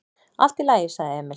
"""Allt í lagi, sagði Emil."""